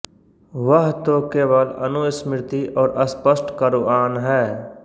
वह तो केवल अनुस्मृति और स्पष्ट क़ुरआन है